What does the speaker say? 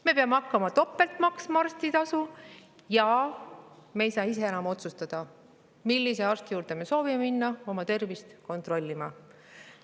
Me peame hakkama maksma topelt arstitasu ja me ei saa ise enam otsustada, millise arsti juurde minna oma tervist kontrollima.